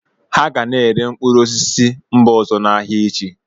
Ha ga na-ere mkpụrụ osisi si mba ọzọ n'ahịa echi